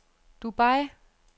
Dubai